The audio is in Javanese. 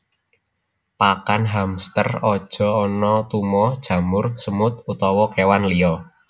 Pakan hamster aja ana tuma jamur semut utawa kewan liya